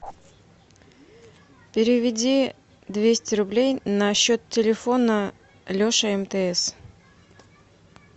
переведи двести рублей на счет телефона леша мтс